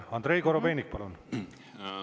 Andrei Korobeinik, palun!